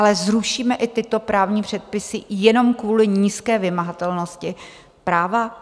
Ale zrušíme i tyto právní předpisy jenom kvůli nízké vymahatelnosti práva?